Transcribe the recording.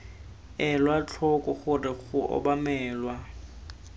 elwa tlhoko gore go obamelwa